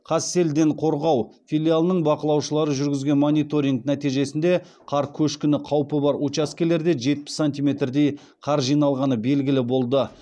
қазселденқорғау филиалының бақылаушылары жүргізген мониторинг нәтижесінде қар көшкіні қаупі бар учаскелерде жетпіс сантиметрдей қар жиналғаны белгілі болды